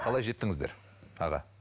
қалай жеттіңіздер аға